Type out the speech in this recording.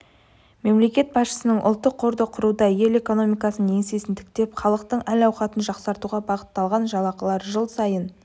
мемлекет басшысының ұлттық қорды құруда ел экономикасының еңсесін тіктеп халықтың әл-ауқатын жақсартуға бағытталды жалақылар жыл сайын